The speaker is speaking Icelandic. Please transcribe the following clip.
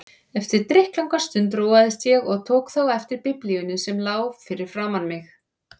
Eftir drykklanga stund róaðist ég og tók þá eftir Biblíunni sem lá fyrir framan mig.